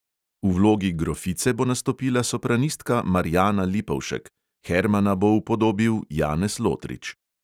V vlogi grofice bo nastopila sopranistka marjana lipovšek, hermana bo upodobil janez lotrič.